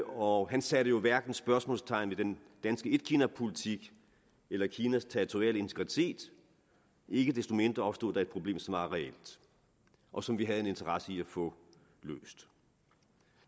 og han satte jo hverken spørgsmålstegn ved den danske etkinapolitik eller kinas territoriale integritet ikke desto mindre opstod der et problem som var reelt og som vi havde en interesse i at få løst